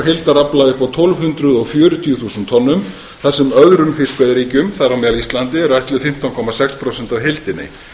heildarafla upp á tólf hundruð fjörutíu þúsund tonn þar sem öðrum fiskveiðiríkjum þar á meðal íslandi eru ætluð fimmtán komma sex prósent af heildinni